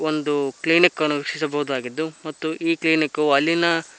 ಒಂದು ಕ್ಲಿನಿಕ್ ಅನ್ನು ವೀಕ್ಷಿಸಬಹುದಾಗಿದ್ದು ಮತ್ತು ಈ ಕ್ಲಿನಿಕ್ ಕು ಅಲ್ಲಿನ.